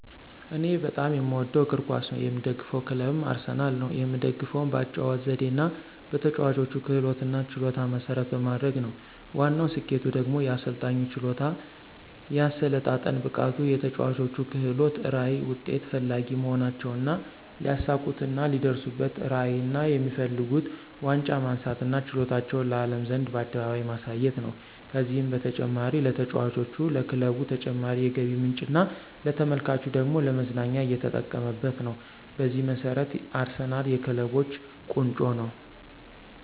እኔ በጣም የምወደው እግር ኳስ ነው። የምደግፈው ክለብም አርሰናል ነው። የምደግፈውም በአጨዋወቱ ዘዴና በተጨዋቾች ክህሎትና ችሎታን መሰረት በማድረግ ነው። ዋናው ስኬቱ ደግሞ የአሰልጣኙ ችሎታ፣ የአሰለጣጠን ብቃቱ፣ የተጨዋቾች ክህሎት፣ ራዕይ፣ ውጤት ፈላጊ መሆናቸውና ሊያሳኩትና ሊደርሱበትራዕይና የሚፈልጉት ዋንጫ ማንሳትና ችሎታቸውን ለአለም ዘንድ በአደባባይ ማሳየት ነው። ከዚህም በተጨማሪ ለተጫዋቾች፣ ለክለቡ ተጨማሪ የገቢ ምንጭና ለተመልካቹ ደግሞ ለመዝናኛ እየተጠቀመበት ነው። በዚህ መሰረት አርሰናል የክለቦች ቆንጮ ነው